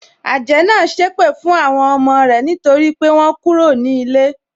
Àjẹ́ náà sépè fún àwọn ọmọ rẹ nítorí pé wọ́n kúrò ní ilé.